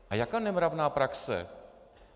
A jaká nemravná praxe?